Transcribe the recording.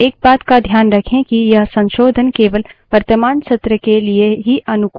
लेकिन एक but का ध्यान रखें कि यह संशोधन केवल वर्तमान सत्र के लिए ही अनुकूल हैं